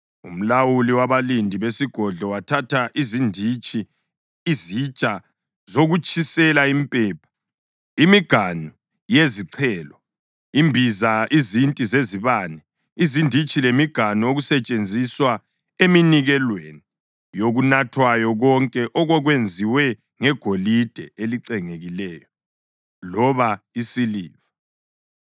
Umlawuli wabalindi besigodlo wathatha izinditshi, izitsha zokutshisela impepha, imiganu yezichelo, imbiza, izinti zezibane, izinditshi lemiganu okusetshenziswa eminikelweni yokunathwayo konke okwakwenziwe ngegolide elicengekileyo loba isiliva.